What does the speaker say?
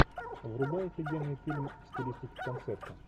врубай офигенный фильм в стилистике концерта